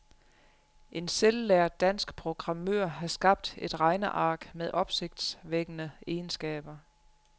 En selvlært dansk programmør har skabt et regneark med opsigtsvækkende egenskaber.